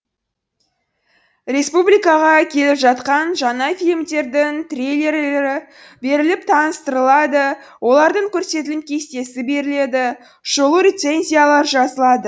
республикаға келіп жатқан жаңа фильмдердің трейлерлері беріліп таныстырылады олардың көрсетілім кестесі беріледі шолу рецензиялар жазылады